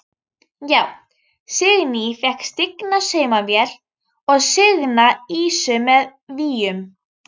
Já: Signý fékk stigna saumavél og signa ýsu með víum.